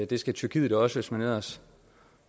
det skal tyrkiet også hvis man ellers